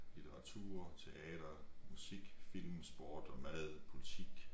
Litteratur teater musik film sport og mad politik